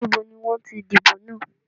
Níbo ni wọn ti dìbò náà?